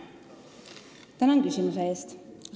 Tänan küsimuse eest!